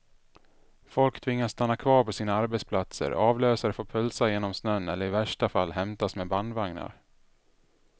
Folk tvingas stanna kvar på sina arbetsplatser, avlösare får pulsa genom snön eller i värsta fall hämtas med bandvagnar.